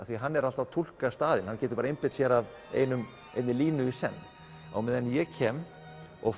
því hann er alltaf að túlka staðina hann getur bara einbeitt sér að einni línu í senn á meðan ég kem og